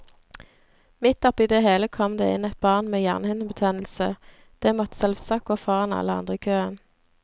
Midt oppi det hele kom det inn et barn med hjernehinnebetennelse, det måtte selvsagt gå foran alle andre i køen.